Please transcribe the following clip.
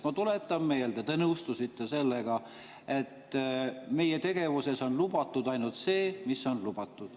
Ma tuletan meelde, te nõustusite sellega, et meie tegevuses on lubatud ainult see, mis on lubatud.